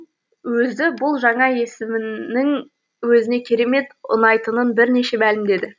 өзі бұл жаңа есімнің өзіне керемет ұнайтынын бірнеше мәлімдеді